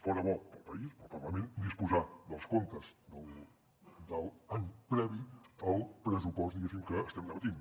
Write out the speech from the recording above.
fora bo per al país per al parlament disposar dels comptes de l’any previ al pressupost que estem debatent